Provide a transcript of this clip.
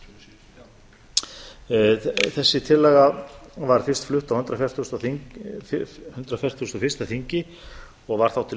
palestínu þessi tillaga var fyrst flutt á hundrað fertugasta og fyrsta þingi og var þá til